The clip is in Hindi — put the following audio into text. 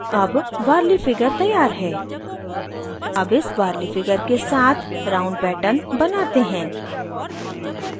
अब warli figure तैयार है अब इस warli figure के साथ round pattern बनाते हैं